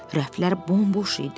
Rəflər bomboş idi.